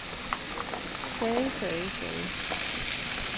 sagde sagde sagde